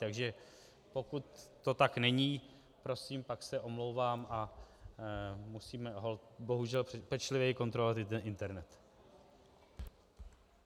Takže pokud to tak není, prosím, pak se omlouvám a musíme holt bohužel pečlivěji kontrolovat i ten internet.